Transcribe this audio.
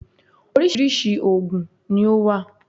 Orísirísi ògùn ni ó wà